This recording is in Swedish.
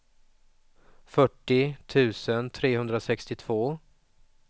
fyrtio tusen trehundrasextiotvå